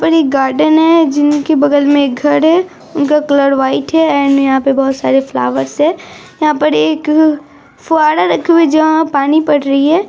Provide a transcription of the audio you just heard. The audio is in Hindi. एक गार्डन है जिनकी बगल मे एक घर है उनका कलर वाइट है एण्ड यहा पे बोहोत सारे फ्लावर्स है यहाँ पर एक अ फऊअरे रखी हुई है जहाँ पानी पड़ रही है।